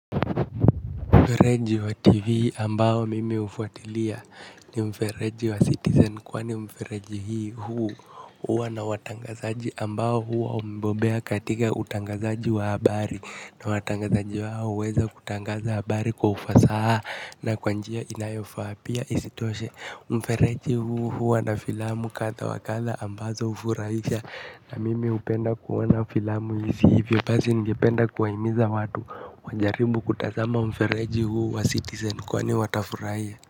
Mfereji wa TV ambao mimi hufuatilia ni mfereji wa citizen kwani mfereji hii huu huwa na watangazaji ambao huwa wamebobea katika utangazaji wa habari na watangazaji wao huweza kutangaza habari kwa ufasaha na kwa njia inayofaa pia isitoshe. Mfereji huu huwa na filamu kadha wa kadha ambazo hufurahisha na mimi hupenda kuona filamu hizi hivyo basi ningependa kuwahimiza watu wajaribu kutazama mfereji huu wa citizen kwani watafurahia.